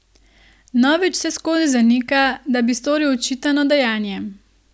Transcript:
Novič vseskozi zanika, da bi storil očitano dejanje.